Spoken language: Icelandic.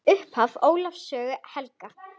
Upphaf Ólafs sögu helga.